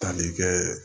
Tali kɛ